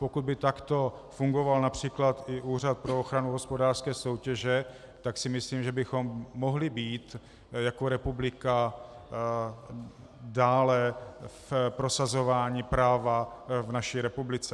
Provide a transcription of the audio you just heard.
Pokud by takto fungoval například i Úřad pro ochranu hospodářské soutěže, tak si myslím, že bychom mohli být jako republika dále v prosazování práva v naší republice.